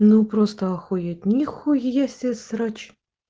ну просто охуеть нихуя себе срач